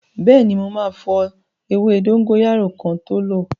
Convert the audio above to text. Bẹẹni, ma fọ ewé dóngóyárò kin tó lo